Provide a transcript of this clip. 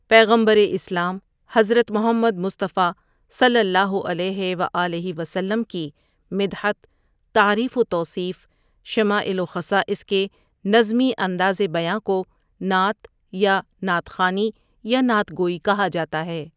پیغمبرِ اسلام حضرت محمد مصطفیٰ صلی اللہ علیہ و آلہ و سلم کی مدحت، تعریف و توصیف، شمائل و خصائص کے نظمی اندازِ بیاں کو نعت یا نعت خوانی یا نعت گوئی کہا جاتا ہے ۔